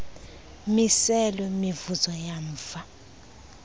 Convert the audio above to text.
miselo mivuzo yamva